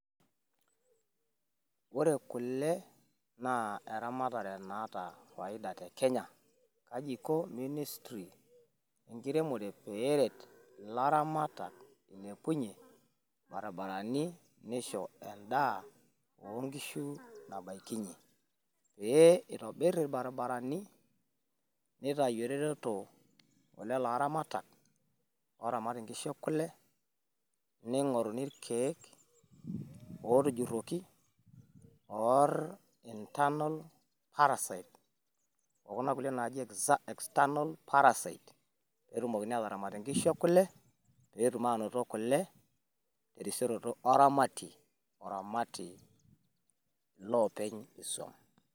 Pee itobir irbaribarani, nitayu eretoto e lelo aramatak ooramat inkishu ekule ning'oruni irkeek ootujurroki oor internal parasite o kuna kulie naaji external parasite pee etumokini ataramat inkishu ekule, pee etum aanoto kule, terisioroto oramatie oramati iloopeny isuam.